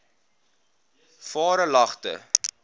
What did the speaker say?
varelagte